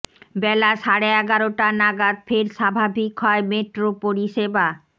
বেলা সাড়ে এগারোটা নাগাদ ফের স্বাভাবিক হয় মেট্রো পরিষেবা